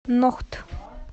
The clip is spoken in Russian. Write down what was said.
нохт